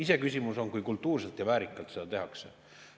Iseküsimus on, kui kultuurselt ja väärikalt seda tehakse.